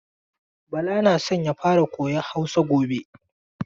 Bala na so ya fara koyan Hausa gobe.